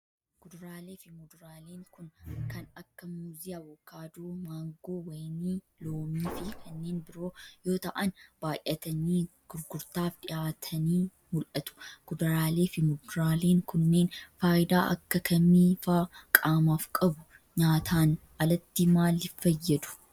Kuduraalee fi muduraaleen kun kan akka :muuzii, avikaadoo, maangoo, wayinii ,loomii, fi kanneeen biroo yoo ta'an, baay'atanii gurgurtaaf dhihaatanii mul'atu. Kuduraalee fi muduraaleen kunneen faayidaa akka kamii faa qaamaaf qabu? Nyaataan alatti maalif fayyadu?